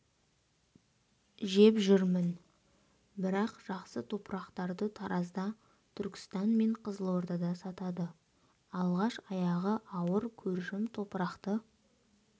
жеп жүрмін бірақ жақсы топырақтарды таразда түркістан мен қызылордада сатады алғаш аяғы ауыр көршім топырақты